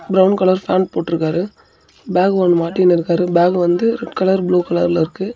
Brown colour pant போற்றுக்காறு bag ஒன்னு மாட்டின்னுயிருக்காரு பேக் வந்து ரெட் கலர் ப்ளூ கலர்ல இருக்கு.